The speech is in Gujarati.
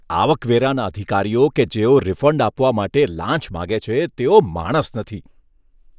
આવકવેરાના અધિકારીઓ કે જેઓ રિફંડ આપવા માટે લાંચ માંગે છે તેઓ માણસ નથી.